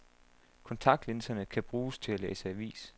Kontaktlinserne kan bruges til at læse avis.